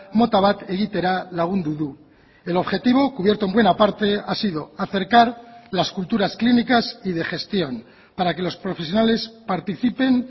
mota bat egitera lagundu du el objetivo cubierto en buena parte ha sido acercar las culturas clínicas y de gestión para que los profesionales participen